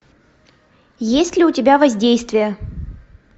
есть ли у тебя воздействие